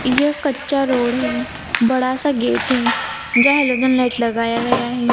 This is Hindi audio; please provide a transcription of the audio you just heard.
यह कच्चा रोड है बड़ा-सा गेट है जहा हेलोजन लाइट लगाया गया है।